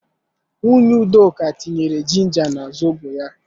Nwunye Udoka tinyere jinja na zobo ya